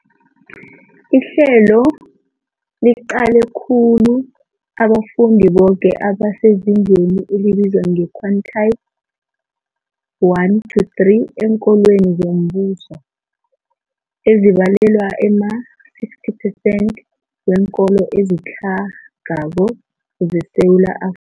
Ihlelo liqale khulu abafundi boke abasezingeni elibizwa nge-quintile 1-3 eenkolweni zombuso, ezibalelwa ema-60 phesenthi weenkolo ezitlhagako zeSewula Afrika.